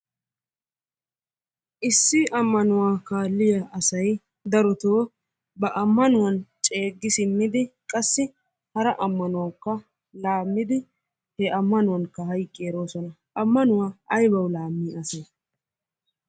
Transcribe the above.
Issi ammanuwa kaalliya asay darotoo ba ammanuwan ceeggi simmidi qassi hara ammanuwawukka laammidi he ammanuwankka hayiqqi eroosona. Ammanuwa ayibawu laammi asay?